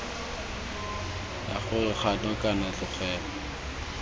la gore kgato kana tlogelo